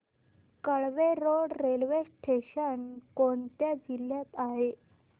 Kelve road railway station कोणत्या जिल्ह्यात आहे